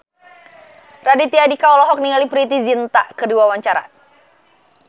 Raditya Dika olohok ningali Preity Zinta keur diwawancara